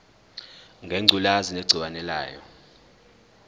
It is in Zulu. ngengculazi negciwane layo